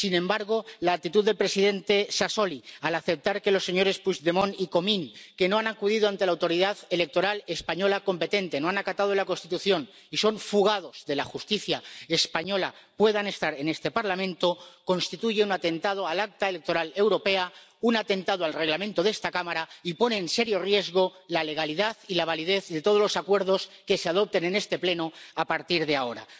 Sin embargo, la actitud del presidente Sassoli, al aceptar que los señores Puigdemont y Comín, que no han acudido ante la autoridad electoral española competente, no han acatado la Constitución, y son fugados de la Justicia española, puedan estar en este Parlamento, constituye un atentado contra el Acta electoral europea, un atentado contra el Reglamento de esta Cámara, y pone en serio riesgo la legalidad y la validez de todos los acuerdos que se adopten en este Pleno a partir de ahora.